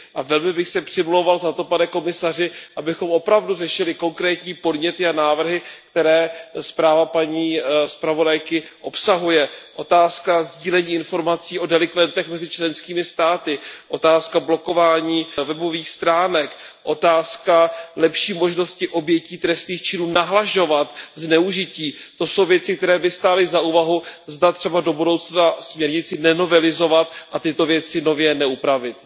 Velmi bych se přimlouval za to, pane komisaři, abychom opravdu řešili konkrétní podněty a návrhy, které zpráva paní zpravodajky obsahuje. Otázka sdílení informací o delikventech mezi členskými státy, otázka blokování webových stránek, otázka lepší možnosti obětí trestných činů nahlašovat zneužití, to jsou věci, které by stály za úvahu, zda třeba do budoucna směrnici nenovelizovat a tyto věci nově neupravit.